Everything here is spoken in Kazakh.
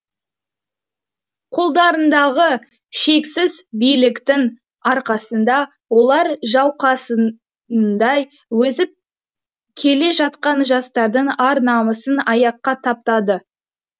қолдарындағы шексіз биліктің арқасында олар жауқазындай өсіп келе жатқан жастардың ар намысын аяққа таптады